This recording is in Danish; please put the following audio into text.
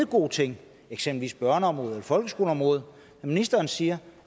gode ting eksempelvis på børneområdet eller folkeskoleområdet når ministeren siger